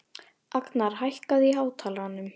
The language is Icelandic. Agnar, hækkaðu í hátalaranum.